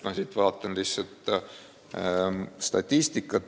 Ma vaatan siin statistikat.